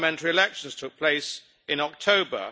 Parliamentary elections took place in October.